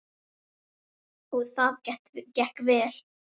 Og það gekk vel.